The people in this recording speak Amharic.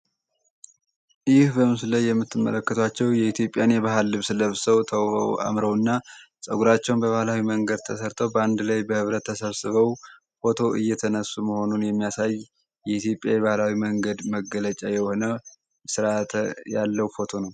ይህ በምስሉ ላይ የምትመለከታቸው የኢትዮጵያን የባህል ልብስ ለብሰው ተው አምረውና ፀጉራቸውን በባህላዊ መንገድ ተሰርቶ በአንድ ላይ በህብረተሰበው ፎቶ እየተነሱ መሆኑን የሚያሳይ የኢትዮጵያ የባህላዊ መንገድ መገለጫ የሆነ ርዓተ ያለው ፎቶ ነው።